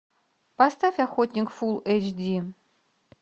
поставь охотник фул эйч ди